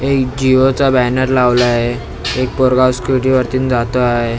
एक जिओ चा बॅनर लावला आहे एक पोरगा स्कुटी वरती न जातो आहे.